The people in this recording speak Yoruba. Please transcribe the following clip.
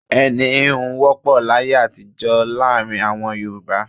Ẹni íhun wọ́pọ̀ láyé àtijó láàrin àwọn Yorùbá.